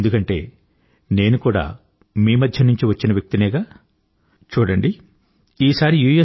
ఎందుకంటే నేను కూడా మీ మధ్య నుంచి వచ్చిన వ్యక్తినేగా చూడండి ఈసారి యూ